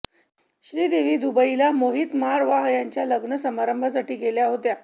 श्रीदेवी दुबईला मोहीत मारवाह याच्या लग्न समारंभासाठी गेल्या होत्या